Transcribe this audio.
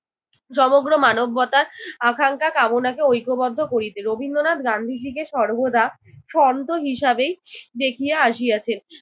সমগ্র মানবতার আকাঙ্ক্ষা কামনাকে ঐক্যবদ্ধ করিতে। রবীন্দ্রনাথ গান্ধীজিকে সর্বদা সন্ত হিসেবেই দেখিয়া আসিয়াছেন।